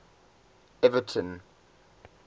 everton